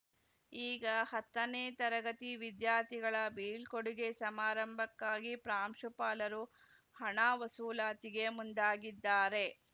ಈಗ ಹತ್ತನೇ ತರಗತಿ ವಿದ್ಯಾರ್ಥಿಗಳ ಬೀಳ್ಕೊಡುಗೆ ಸಮಾರಂಭಕ್ಕಾಗಿ ಪ್ರಾಂಶುಪಾಲರು ಹಣ ವಸೂಲಾತಿಗೆ ಮುಂದಾಗಿದ್ದಾರೆ